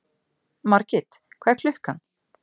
Margit, hvað er klukkan?